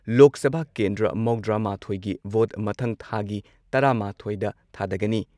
ꯒꯤ ꯄꯨꯟꯅ ꯂꯣꯛ ꯁꯚꯥ ꯀꯦꯟꯗ꯭ꯔ ꯃꯧꯗ꯭ꯔꯥ ꯃꯥꯊꯣꯏ ꯒꯤ ꯚꯣꯠ ꯃꯊꯪ ꯊꯥꯒꯤ ꯇꯔꯥ ꯃꯥꯊꯣꯏ ꯗ ꯊꯥꯗꯒꯅꯤ꯫